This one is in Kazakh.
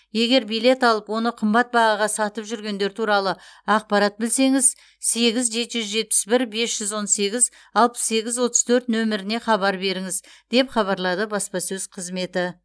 егер билет алып оны қымбат бағаға сатып жүргендер туралы ақпарат білсеңіз сегіз жеті жүз жетпіс бір бес жүз он сегіз алпыс сегіз отыз төрт нөміріне хабар беріңіз деп хабарлады баспасөз қызметі